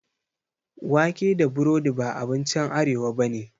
Wake da breaburodi ba abinci arewa bane